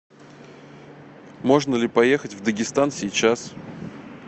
можно ли поехать в дагестан сейчас